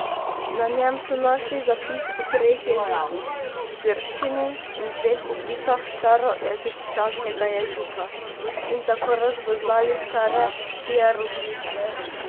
Na njem so našli zapis v treh jezikih, grščini in dveh oblikah staroegipčanskega jezika, in tako razvozlali stare hieroglife.